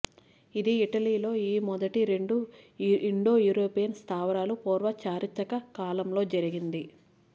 ఇది ఇటలీలో ఈ మొదటి రెండు ఇండెయోరోపెయన్ స్థావరాలు పూర్వ చారిత్రక కాలంలో జరిగింది